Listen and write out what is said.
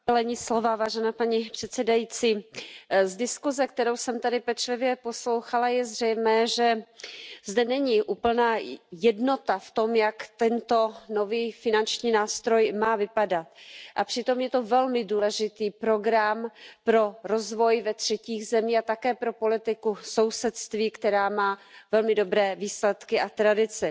Paní předsedající, z diskuze, kterou jsem tady pečlivě poslouchala, je zřejmé, že zde není úplná jednota v tom, jak tento nový finanční nástroj má vypadat, a přitom je to velmi důležitý program pro rozvoj ve třetích zemích a také pro politiku v sousedství, která má velmi dobré výsledky a tradici.